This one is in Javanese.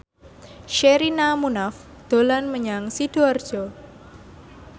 Sherina Munaf dolan menyang Sidoarjo